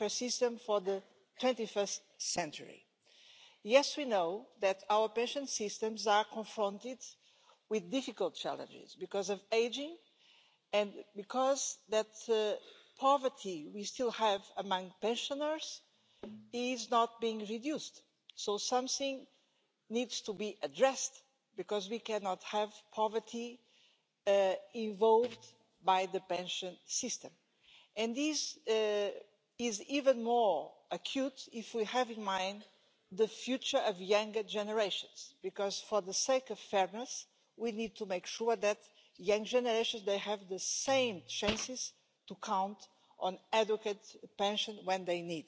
Das Verhältnis von Beitragszahlern und bei Beitragsempfängern wird immer schlechter und es wird sich zukünftig auch weiter nicht verbessern. Schon heute sind in Deutschland die Sozialtransfers an Immigranten pro Kopf höher als die Transfers an einheimische Sozialhilfeempfänger. Deutschland stockt leider die Zahl der niedrig oder gar nicht qualifizierten Einwanderer weiter auf und beraubt sich somit finanzieller Spielräume. Die Bürger, deren Lebensversicherungen ebenso wie ihre Sparguthaben entwertet werden, verlassen sich zumindest in Deutschland zunehmend auf staatliche Versorgung, ja Niedrigrente oder Sozialhilfe. Wir brauchen in der Euro Zone eine Entflechtung der Politik von Banken und Versicherern und keine zunehmende Verflechtung und Abhängigkeit. Wir